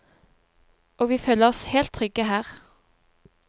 Og vi føler oss helt trygge her.